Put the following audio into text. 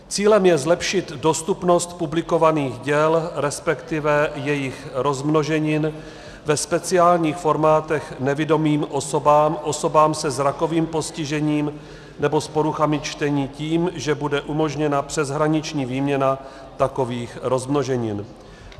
Cílem je zlepšit dostupnost publikovaných děl, respektive jejich rozmnoženin, ve speciálních formátech nevidomým osobám, osobám se zrakovým postižením nebo s poruchami čtení tím, že bude umožněna přeshraniční výměna takových rozmnoženin.